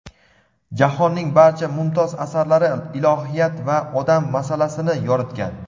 Jahonning barcha mumtoz asarlari ilohiyat va odam masalasini yoritgan.